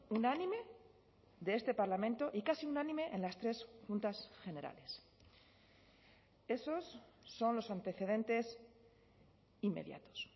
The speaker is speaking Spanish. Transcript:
unánime de este parlamento y casi unánime en las tres juntas generales esos son los antecedentes inmediatos